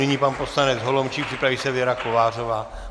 Nyní pan poslanec Holomčík, připraví se Věra Kovářová.